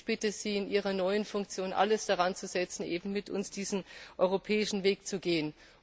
Ich bitte Sie, in Ihrer neuen Funktion alles daranzusetzen, eben mit uns diesen europäischen Weg zu gehen.